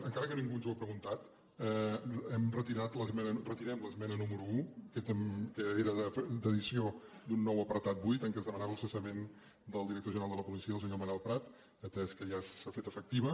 encara que ningú ens ho ha preguntat hem retirat retirem l’esmena número un que era d’addició d’un nou apartat vuit en què es demanava el cessament del director general de la policia del senyor manel prat atès que ja s’ha fet efectiva